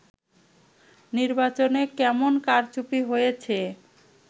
নির্বাচনে কেমন কারচুপি হয়েছে